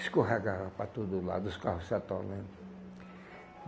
Escorregava para todo lado, os carros se atolando.